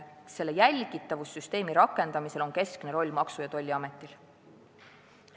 Selle jälgitavussüsteemi rakendamisel on keskne roll Maksu- ja Tolliametil.